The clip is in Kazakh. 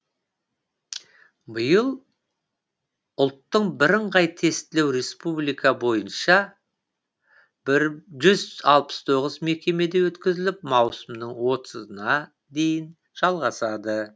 биыл ұлттың бірыңғай тестілеу республика бойынша бір жүз алпыс тоғыз мекемеде өткізіліп маусымның отызына дейін жалғасады